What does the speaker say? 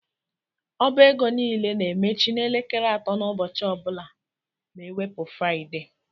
Ọba égo niile na-emechi n' elekere atọ ụbọchị ọbula na ewepu Fruaide.